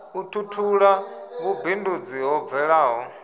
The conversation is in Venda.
u tutula vhumbindudzi ho bvelaho